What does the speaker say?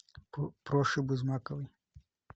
проши бузмаковой